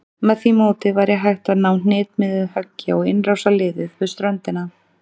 Með því móti væri hægt að ná hnitmiðuðu höggi á innrásarliðið við ströndina.